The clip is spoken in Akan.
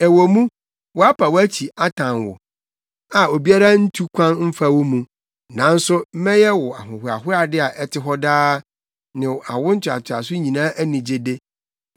“Ɛwɔ mu, wɔapa wʼakyi atan wo, a obiara ntu kwan mfa wo mu, nanso mɛyɛ wo ahohoahoade a ɛte hɔ daa ne awo ntoatoaso nyinaa anigyede.